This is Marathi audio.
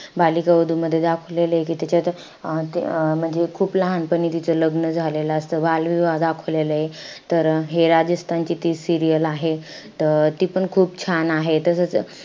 बालिका वधू मध्ये दाखवलेलंय कि त्याच्यात अं ते अं म्हणजे खूप लहानपणी तिचं लग्न झालेलं असतं, बालविवाह दाखवलेलाय. तर हे राजस्थानची ती serial आहे. त ती पण खूप छान आहे. तसंच,